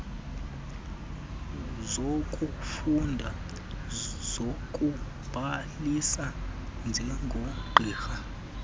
zokufunda zokubhalisa njengogqirha